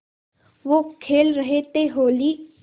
वो खेल रहे थे होली